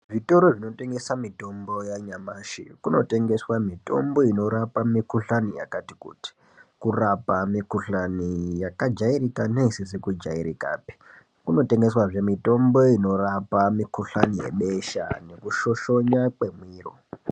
Zvitoro zvinotengesa mitombo yanyamashi kunotengeswa mitombo inorapa mikuhlani yakati kuti, kurapa mikuhlani yakajairika neisizi kujairikapi. Kunotengeswazve mitombo inorapa mikuhlani yebesha nekushoshonya kwemiro.